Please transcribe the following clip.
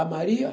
A Maria?